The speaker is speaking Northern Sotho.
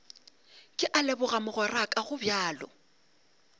ke a leboga mogweraka gobjalo